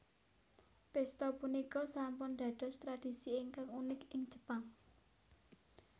Pesta punika sampun dados tradisi ingkang unik ing Jepang